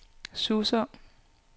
Suså